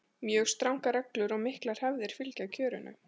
mjög strangar reglur og miklar hefðir fylgja kjörinu